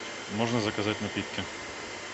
можно заказать напитки